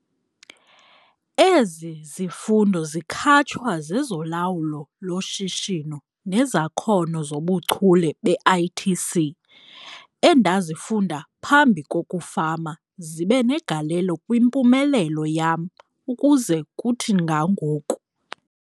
Ezi zifundo zikhatshwa zezoLawulo loShishino nezakhono zobuchule be-ITC endazifunda phambi kokufama zibe negalelo kwimpumelelo yam ukuze kuthi ga ngoku.